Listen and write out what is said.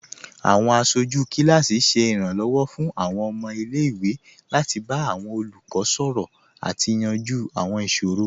Awọn aṣọju kilasi ṣẹ iranlọwọ fun awọn ọmọ ilẹ̀-iwe lati ba awọn olukọ sọrọ ati yanju awọn iṣoro